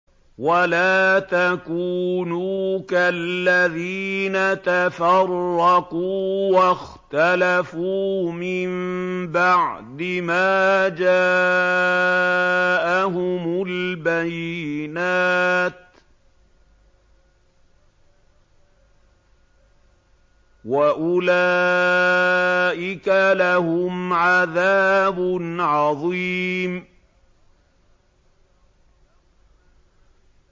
وَلَا تَكُونُوا كَالَّذِينَ تَفَرَّقُوا وَاخْتَلَفُوا مِن بَعْدِ مَا جَاءَهُمُ الْبَيِّنَاتُ ۚ وَأُولَٰئِكَ لَهُمْ عَذَابٌ عَظِيمٌ